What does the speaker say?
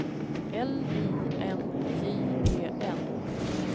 L I N J E N